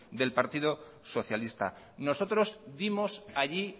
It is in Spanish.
del partido socialista nosotros dimos allí